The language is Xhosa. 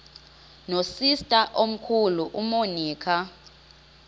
nosister omkhulu umonica